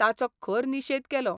ताचो खर निशेध केलो.